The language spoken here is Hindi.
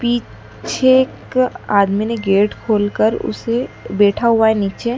पीछे एक आदमी ने गेट खोलकर उसे बैठा हुआ है नीचे--